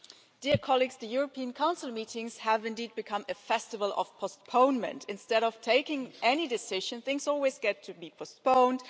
Madam President, the European Council meetings have indeed become a festival of postponement. Instead of taking any decisions, things always get to be postponed